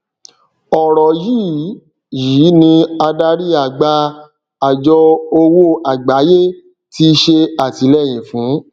ọrọ yìí yìí ni adarí àgbà àjọ òwò àgbáyé ti ṣe àtìlẹyìn fún